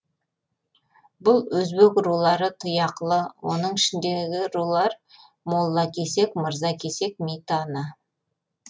бұл өзбек рулары тұяқлы оның ішіндегі рулар молла кесек мырза кесек митаны